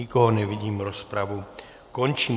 Nikoho nevidím, rozpravu končím.